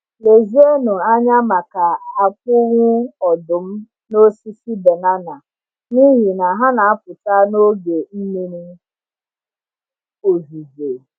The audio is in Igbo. Lezienụ anya maka akpụ̀wụ̀ ọdụm n’osisi banana, n’ihi na ha na-apụta n’oge mmiri ozuzo.